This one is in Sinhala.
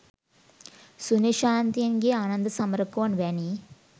සුනිල් ශාන්තයන්ගේ ආනන්ද සමරකෝන් වැනි